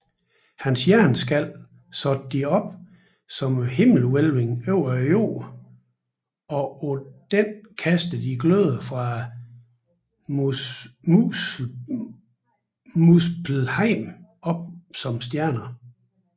Hans hjerneskal satte de op som himmelhvælvingen over jorden og på denne kastede de gløder fra Muspelheim op som stjernerne